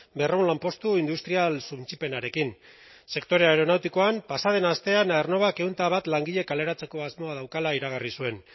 berrehun lanpostu industrial suntsipenarekin sektore aeronautikoan pasa den astean aernnovak ehun eta bat langile kaleratzeko asmoa daukala iragarri zuen